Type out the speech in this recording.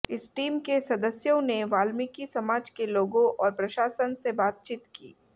इस टीम के सदस्यों ने वाल्मिकी समाज के लोगों और प्रशासन से बातचीत की